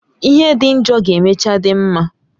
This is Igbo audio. Ihe dị njọ ga emechaa dị mma